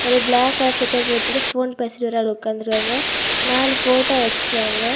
இதோ black colour சட்டை போட்டுட்டு போன் பேசிட்டு ஒரு ஆளு உக்காந்துட்டு இருக்காங்க. நாலு போட்டோ வச்சிருக்காங்க.